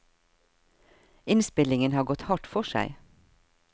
Innspillingen har gått hardt for seg.